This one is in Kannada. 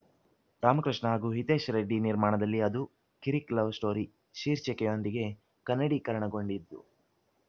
ರಾಮಕೃಷ್ಣ ಹಾಗೂ ಹಿತೇಶ್‌ ರೆಡ್ಡಿ ನಿರ್ಮಾಣದಲ್ಲಿ ಅದು ಕಿರಿಕ್‌ ಲವ್‌ ಸ್ಟೋರಿ ಶೀರ್ಷಿಕೆಯೊಂದಿಗೆ ಕನ್ನಡೀಕರಣಗೊಂಡಿದ್ದು